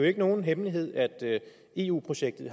ikke nogen hemmelighed at eu projektet